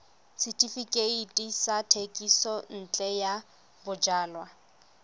setefikeiti sa thekisontle ya bojalwa